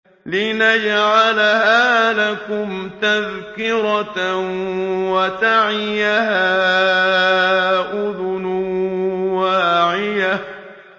لِنَجْعَلَهَا لَكُمْ تَذْكِرَةً وَتَعِيَهَا أُذُنٌ وَاعِيَةٌ